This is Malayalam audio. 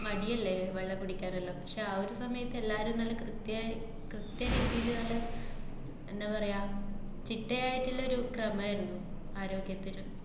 മടിയല്ലേ വെള്ളം കുടിക്കാനെല്ലാം. പക്ഷെ ആ ഒരു സമയത്ത് എല്ലാരും നല്ല കൃത്യായി കൃത്യായിട്ടിതുപോലെ എന്താ പറയാ, ചിട്ടയായിട്ടുള്ളൊരു ക്രമായിര്ന്നു, ആരോഗ്യത്തില്.